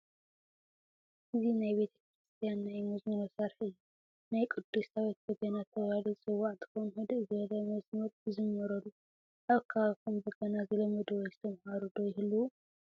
እዚ ናይ ቤተ ክርስትያ ናይ መዝሙር መሳርሒ እዩ፡፡ ናይ ቅዱስ ዳዊት በገና ተባሂሉ ዝፅዋዕ እንትኸውን ህድእ ዝበለ መዝሙር ይዝመረሉ፡፡ ኣብ ከባቢኹም በገና ዝለመዱ ወይ ዝተማሃሩ ዶ ይህልው?